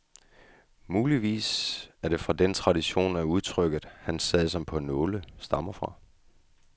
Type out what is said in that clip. Muligvis er det fra denne tradition, at udtrykket han sad som på nåle stammer fra.